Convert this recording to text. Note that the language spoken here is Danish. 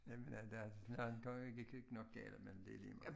Jamen ja der de andre gik nok galt men det ligemeget